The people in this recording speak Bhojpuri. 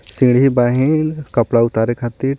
सीढ़ी बाहिन कपड़ा उतारे खातीर.